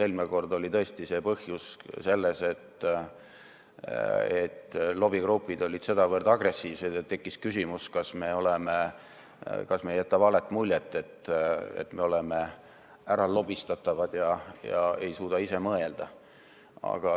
Eelmine kord oli tõesti põhjus selles, et lobigrupid olid sedavõrd agressiivsed ja tekkis küsimus, kas me ei jäta valet muljet, nagu me oleksime äralobistatavad ega suudaks ise mõelda.